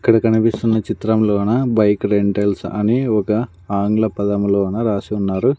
ఇక్కడ కనిపిస్తున్న చిత్రంలోన బైక్ రెంటల్స్ అని ఒక ఆంగ్ల పదములోన రాసి ఉన్నారు.